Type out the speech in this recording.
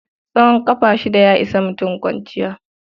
Tsawon ƙafa shida ya ishi mutum kwanciya.